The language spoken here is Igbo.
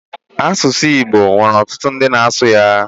Asụ asụsụ Igbo nwere ọtụtụ ndị na-asụ ya